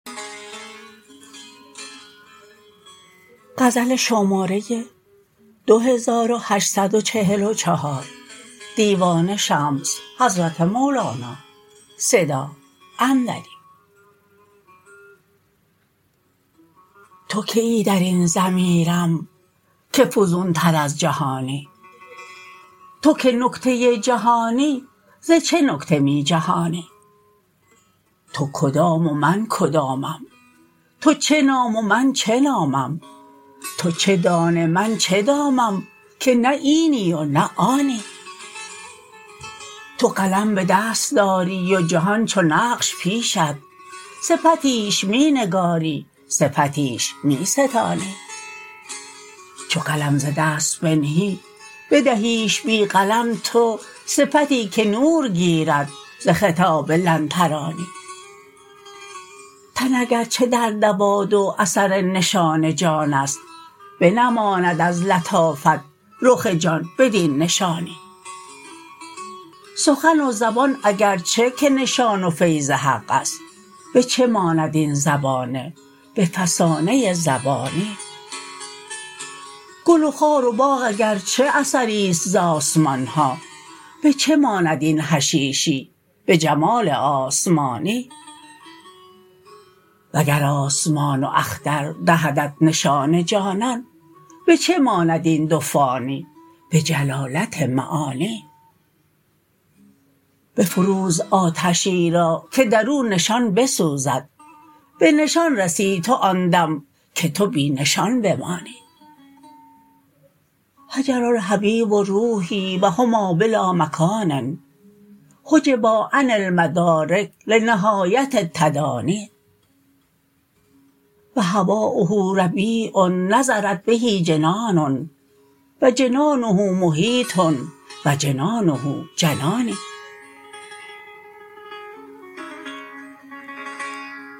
تو کیی در این ضمیرم که فزونتر از جهانی تو که نکته جهانی ز چه نکته می جهانی تو کدام و من کدامم تو چه نام و من چه نامم تو چه دانه من چه دامم که نه اینی و نه آنی تو قلم به دست داری و جهان چو نقش پیشت صفتیش می نگاری صفتیش می ستانی چو قلم ز دست بنهی بدهیش بی قلم تو صفتی که نور گیرد ز خطاب لن ترانی تن اگر چه در دوادو اثر نشان جان است بنماید از لطافت رخ جان بدین نشانی سخن و زبان اگر چه که نشان و فیض حق است به چه ماند این زبانه به فسانه زبانی گل و خار و باغ اگر چه اثری است ز آسمان ها به چه ماند این حشیشی به جمال آسمانی وگر آسمان و اختر دهدت نشان جانان به چه ماند این دو فانی به جلالت معانی بفروز آتشی را که در او نشان بسوزد به نشان رسی تو آن دم که تو بی نشان بمانی هجر الحبیب روحی و هما بلامکان حجبا عن المدارک لنهایه التدانی و هوایه ربیع نضرت به جنان و جنانه محیط و جنانه جنانی